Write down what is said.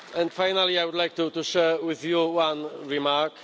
Finally, I would like to share with you one remark.